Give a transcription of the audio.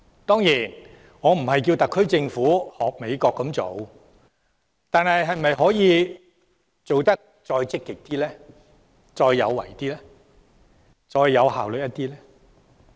當然，我並非要求特區政府仿效美國，但政府在行事時可否更積極、更有為和更有效率呢？